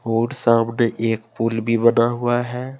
और सामने एक पुल भी बना हुआ है।